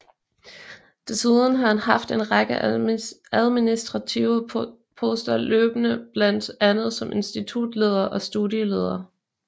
Desuden har han haft en række administrative poster løbende blandt andet som institutleder og studieleder